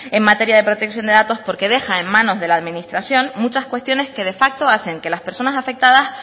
en materia de protección de datos porque deja en manos de la administración muchas cuestiones que de facto hacen que las personas afectadas